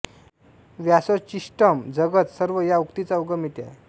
व्यासोच्छिष्टम् जगत् सर्वं या उक्तीचा उगम येथे आहे